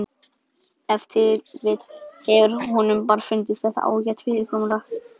Ef til vill hefur honum bara fundist þetta ágætt fyrirkomulag.